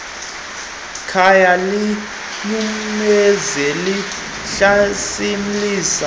khaya linyumnyezi elihlasimlisa